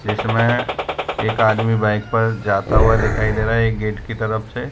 इसमें एक आदमी बाइक पर जाता हुआ दिखाई दे रहा है एक गेट की तरफ से --